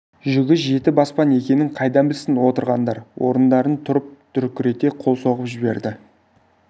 жүгі жеті баспан екенін қайдан білсін отырғандар орындарынан тұрып дүркірете қол соғып жіберді